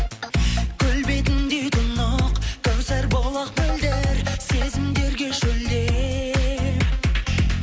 көл бетіндей тұнық кәусар бұлақ мөлдір сезімдерге шөлдеп